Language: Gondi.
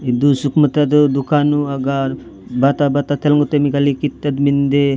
इदु सुकमाता दो दुकानु अगाल बाता बाता तेल मुत्ते मिकाले ईत्तद मिन्दे।